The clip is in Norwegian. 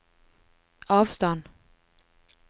avstand